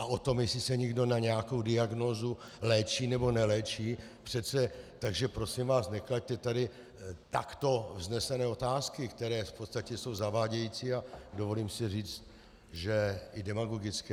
A o tom, jestli se někdo na nějakou diagnózu léčí, nebo neléčí, přece, takže prosím vás, neklaďte tady takto vznesené otázky, které v podstatě jsou zavádějící, a dovolím si říct, že i demagogické.